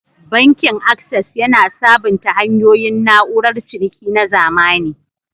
Bankin Access, yana sabunta hanyoyin na'urar ciniki na zamani.